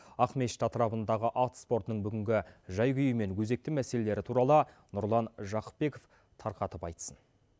ақмешіт атырабындағы ат спортының бүгінгі жәй күйімен өзекті мәселелері туралы нұрлан жақыпбек тарқатып айтсын